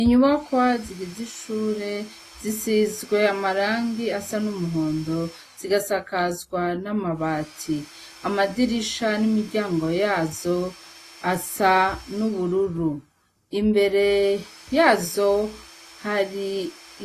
inyubakwa zigiz'ishure , zisizwe amarangi asa n'umuhondo , zigasakazwa n'amabati. Amadirisha n'imiryango yazo , asa n'ubururu, imbere yazo, hari